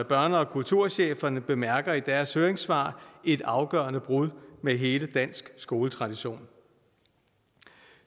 børne og kulturcheferne bemærker i deres høringssvar et afgørende brud med hele den danske skoletradition